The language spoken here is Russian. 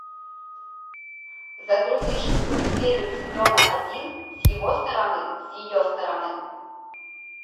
загрузи шестую серию сезона один с его стороны с ее стороны